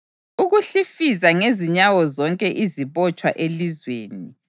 Ukuhlifiza ngezinyawo zonke izibotshwa elizweni,